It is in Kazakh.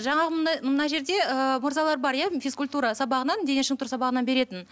жаңағы мына жерде ы мырзалар бар иә физкультура сабағынан дене шынықтыру сабағынан беретін